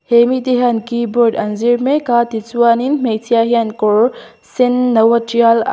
he mite hian keyboard an zir mek a tichuanin hmeichhia hian kawr sen no a tial a--